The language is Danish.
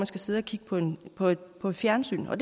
skal sidde og kigge på på et fjernsyn for